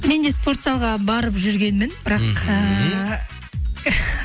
мен де спорт залға барып жүргенмін бірақ ііі